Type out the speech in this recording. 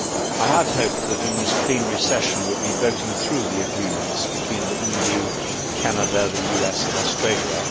I had hoped that in this plenary session we would be voting through the agreements between the EU, Canada, the US and Australia.